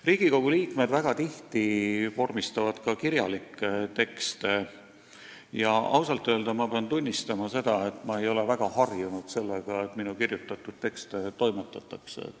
Riigikogu liikmed vormistavad väga tihti ka kirjalikke tekste ja ausalt öeldes ma pean tunnistama, et ma ei ole väga harjunud sellega, et minu kirjutatud tekste toimetatakse.